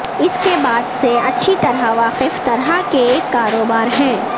اس کے بعد سے اچھی طرح واقف طرح کے ایک کاروبار ہیں